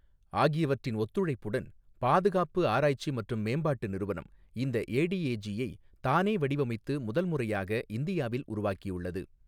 ஆகியவற்றின் ஒத்துழைப்புடன் பாதுகாப்பு ஆராய்ச்சி மற்றும் மேம்பாட்டு நிறுவனம் இந்த ஏடிஏஜி யை தானே வடிவமைத்து முதல் முறையாக இந்தியாவில் உருவாக்கியுள்ளது.